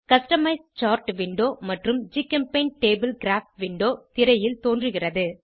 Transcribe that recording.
customise chart window மற்றும் ஜிசெம்டபிள் graph window திரையில் தோன்றுகின்றன